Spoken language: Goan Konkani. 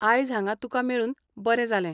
आयज हांगा तुका मेळून बरें जालें.